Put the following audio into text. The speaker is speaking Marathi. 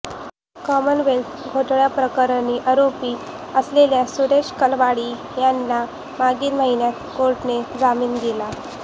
कॉमनवेल्थ घोटाळ्याप्रकरणी आरोपी असलेले सुरेश कलमाडी यांना मागिल महिन्यात कोर्टाने जामीन दिला